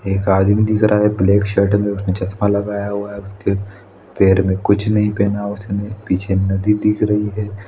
एक आदमी दिख रहा है ब्लैक शर्ट में उसने चश्मा लगाया हुआ है उसके पैर में कुछ नहीं पहना उसने पीछे नदी दिख रही है।